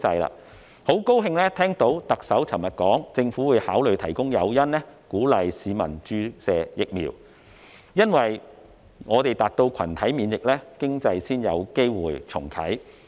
我很高興聽到特首昨天說，政府會考慮提供誘因，鼓勵市民注射疫苗，因為我們達到群體免疫，經濟才有機會重啟。